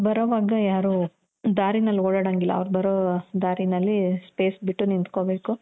ಅವ್ರು ಬರೋವಾಗ ಯಾರು ದಾರಿನಲ್ಲಿ ಓಡಾಡೋಹಂಗಿಲ್ಲ ಅವ್ರ್ ಬರೋ ದಾರಿನಲ್ಲಿ space ಬಿಟ್ಟು ನಿತ್ಹ್ಕೊಬೇಕು.